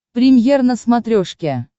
премьер на смотрешке